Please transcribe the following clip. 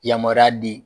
Yamaruya di